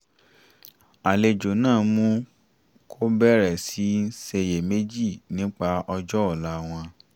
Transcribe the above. àlejò náà mú kó bẹ̀rẹ̀ sí í ṣiyèméjì nípa ọjọ́ ọ̀la wọn